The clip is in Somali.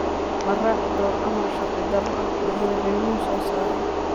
Ma raaci doono amar sharci darro ah oo uu madaxweynuhu soo saaray.